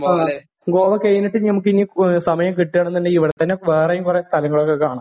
ആ. ഗോവ കഴിഞ്ഞിട്ട് നമുക്ക് ഇനി സമയം കിട്ടുകയാണെന്നുണ്ടെങ്കിൽ ഇവിടെ തന്നെ വേറെയും കൊറേ സ്ഥലങ്ങൾ ഒക്കെ കാണാം.